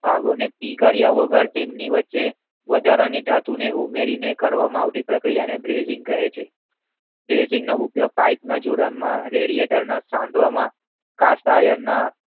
પીગળ્યાં વગર તેમની વચ્ચે વધારાની ધાતુને ઉમેરીને કરવામાં આવતી પરીકરીયાને preshing કહે છે pressing નો ઉપયોગ પાઇપના જોડાણ માં રેડીયાકાળને સાંધવામાં કેટ આયર્નના